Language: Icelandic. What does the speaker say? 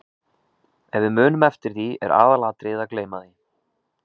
Ef við munum eftir því er aðalatriðið að gleyma því.